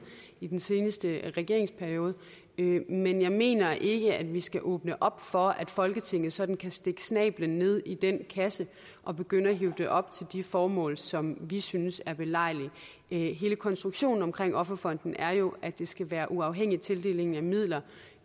i den seneste regeringsperiode men jeg mener ikke at vi skal åbne op for at folketinget sådan kan stikke snablen ned i den kasse og begynde at hive penge op til de formål som vi synes er belejligt hele konstruktionen omkring offerfonden er jo at det skal være uafhængig tildeling af midler